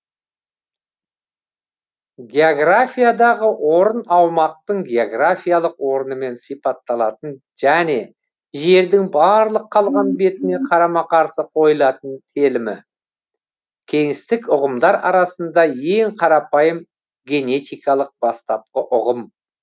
географиядағы орын аумақтың географиялық орнымен сипатталатын және жердің барлық қалған бетіне қарама қарсы қойылатын телімі кеңістіктік ұғымдар арасында ең қарапайым генетикалық бастапқы ұғым